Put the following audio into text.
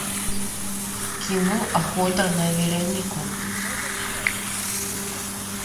кино охота на веронику